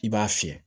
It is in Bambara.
I b'a fiyɛ